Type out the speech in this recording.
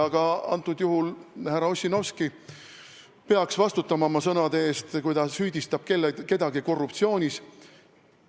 Ka härra Ossinovski peaks vastutama oma sõnade eest, kui ta süüdistab kedagi korruptsioonis.